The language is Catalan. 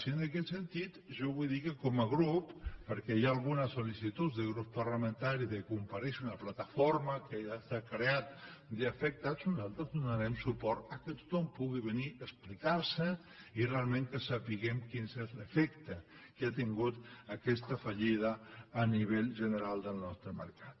i en aquest sentit jo vull dir que com a grup perquè hi ha algunes sollamentaris de comparèixer una plataforma que ja s’ha creat d’afectats nosaltres donarem suport que tothom pugui venir a explicar se i realment que sapiguem quin és l’efecte que ha tingut aquesta fallida a nivell general del nostre mercat